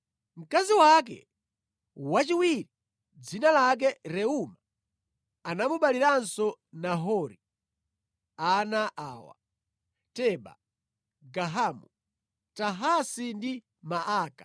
Mkazi wake wachiwiri, dzina lake Reuma, anamubaliranso Nahori ana awa: Teba, Gahamu, Tahasi ndi Maaka.